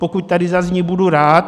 Pokud tady zazní, budu rád.